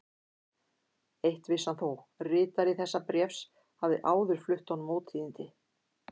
Eitt vissi hann þó: ritari þessa bréfs hafði áður flutt honum ótíðindi.